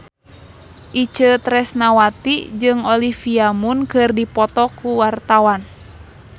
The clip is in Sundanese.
Itje Tresnawati jeung Olivia Munn keur dipoto ku wartawan